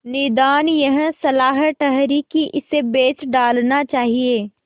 निदान यह सलाह ठहरी कि इसे बेच डालना चाहिए